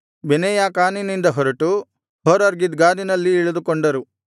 ಬೆನೇಯಾಕಾನಿನಿಂದ ಹೊರಟು ಹೋರ್ಹಗಿದ್ಗಾದಿನಲ್ಲಿ ಇಳಿದುಕೊಂಡರು